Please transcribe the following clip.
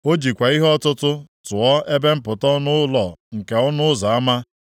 O jikwa ihe ọtụtụ tụọ ebe mpụta ọnụ ụlọ nke ọnụ ụzọ ama,